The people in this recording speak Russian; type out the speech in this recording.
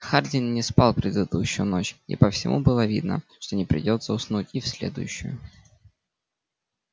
хардин не спал предыдущую ночь и по всему было видно что не придётся уснуть и в следующую